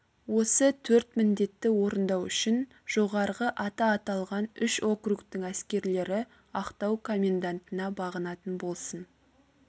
осы төрт міндетті орындау үшін жоғарғы аты аталған үш округтің әскерлері ақтау комендантына бағынатын болсын